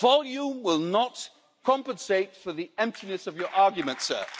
Volume will not compensate for the emptiness of your arguments, sir.